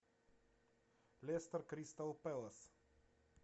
лестер кристал пэлас